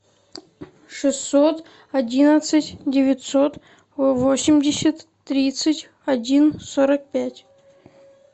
шестьсот одинадцать девятьсот восемьдесят тридцать один сорок пять